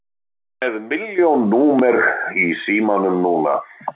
Ég er með milljón númer í símanum núna.